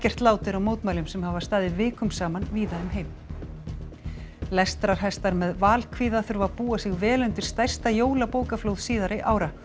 lát er á mótmælum sem hafa staðið vikum saman víða um heim lestrarhestar með þurfa að búa sig vel undir stærsta jólabókaflóð síðari ára